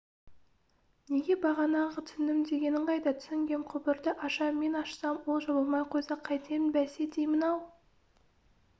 неге бағана түсіндім дегенің қайда түсінгем құбырды ашам мен ашсам ол жабылмай қойса қайтем бәсе деймін-ау